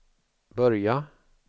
börja